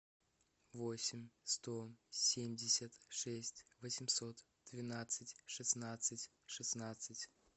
восемь сто семьдесят шесть восемьсот двенадцать шестнадцать шестнадцать